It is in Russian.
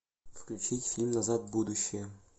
включить фильм назад в будущее